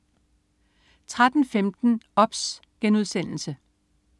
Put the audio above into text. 13.15 OBS*